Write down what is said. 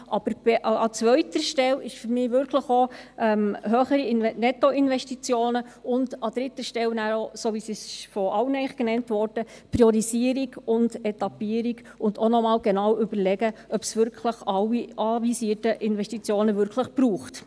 Aber an zweiter Stelle stehen für mich wirklich auch höhere Nettoinvestitionen und an dritter Stelle – wie es von allen genannt wurde – die Priorisierung und Etappierung und dass man sich noch einmal genau überlegt, ob es alle anvisierten Investitionen wirklich braucht.